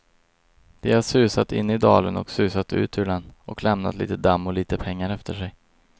De har susat in i dalen och susat ut ur den, och lämnat litet damm och litet pengar efter sig.